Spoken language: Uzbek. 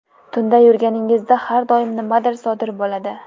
Tunda yurganingizda har doim nimadir sodir bo‘ladi.